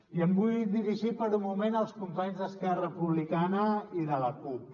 i em vull dirigir per un moment als companys d’esquerra republicana i de la cup